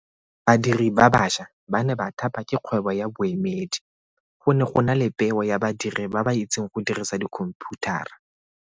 Badiri ba baša ba ne ba thapa ke kgwebo ya boemedi. Go ne gona le peo ya badiri ba ba itseng go dirisa dikhomphutara.